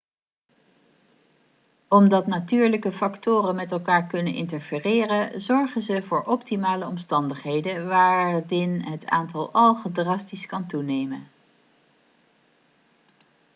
omdat natuurlijke factoren met elkaar kunnen interfereren zorgen ze voor optimale omstandigheden waardin het aantal algen drastisch kan toenemen